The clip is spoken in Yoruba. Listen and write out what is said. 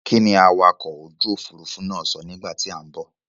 Kíni awakọ̀ ojú òfuurufú náà sọ nígbà tí à ń bọ̀?